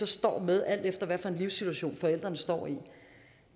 står med alt efter hvilken livssituation forældrene står